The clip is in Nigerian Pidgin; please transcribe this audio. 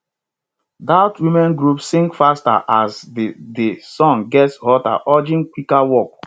dat women group sing faster as di di sun gets hotter urging quicker work